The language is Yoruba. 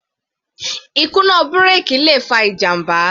Ìkùnà bírèkì le fa ìjàmbá.